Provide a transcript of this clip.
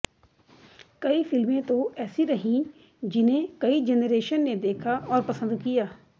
कुछ फिल्में तो ऐसी रहीं जिन्हें कई जेनरेशन ने देखा और पसंद किया